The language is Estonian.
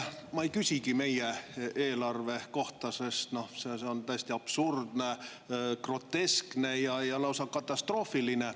Ma ei küsigi meie eelarve kohta, sest see on täiesti absurdne, groteskne ja lausa katastroofiline.